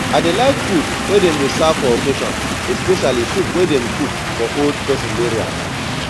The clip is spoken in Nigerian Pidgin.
i dey like food wey dem dey serve for occassion especially soup wey dem cook for old person burial